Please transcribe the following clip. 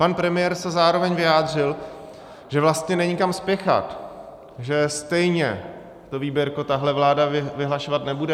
Pan premiér se zároveň vyjádřil, že vlastně není kam spěchat, že stejně to výběrko tahle vláda vyhlašovat nebude.